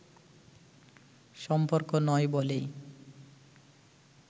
সম্পর্ক নয় বলেই